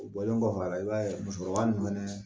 O bɔlen kɔfɛ a la i b'a ye musokɔrɔba ninnu fɛnɛ